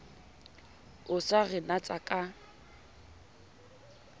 o sa re natsa ka